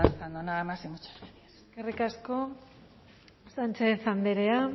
avanzando nada más y muchas gracias eskerrik asko sánchez andrea